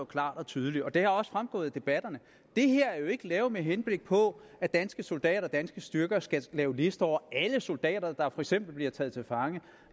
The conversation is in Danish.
klart og tydeligt og det er også fremgået af debatterne at det her ikke er lavet med henblik på at danske soldater og danske styrker skal lave lister over alle soldater der for eksempel bliver taget til fange